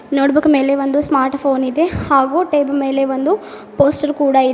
Note book ಮೇಲೆ ಒಂದು smartphone ಇದೆ ಹಾಗೂ ಟೇಬಲ್ ಮೇಲೆ ಒಂದು ಪೋಸ್ಟರ್ ಕೂಡ ಇದೆ.